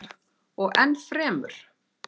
Og ennfremur.